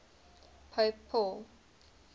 pope paul